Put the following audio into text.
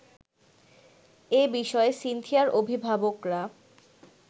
এ বিষয়ে সিনথিয়ার অভিভাবকরা